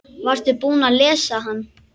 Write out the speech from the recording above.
Varstu búinn að lesa hann?